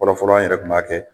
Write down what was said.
Fɔlɔ fɔlɔ an yɛrɛ kun b'a kɛ.